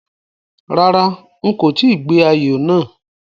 Rárá, n kò tíì gbé ayò náà